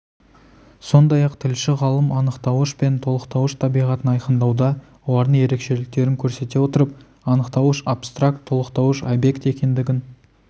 сондай-ақ тілші-ғалым анықтауыш пен толықтауыш табиғатын айқындауда олардың ерекшеліктерін көрсете отырып анықтауыш абстракт толықтауыш объект екендігін